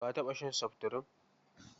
Ka taɓa shan seftirin?